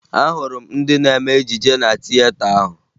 Ahụrụ m ndị na-eme ejije na tieta ahụ